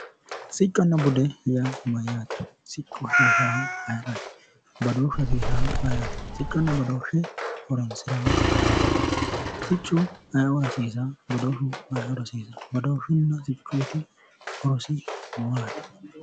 Sicconna bude yaa mayyaate? Siccu hasiisaahu ayeraati? Badooshshu hasiisaahu ayeeraati? Siccunna badooshshe horonsiraahu ayeoraati? Siccu aye"ora hasiisawo? Badooshshu hasiisaahu aye"oraati? Badooshshuyiitinna siccuyiiti horosi maati?